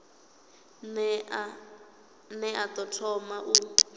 ne a ḓo thoma u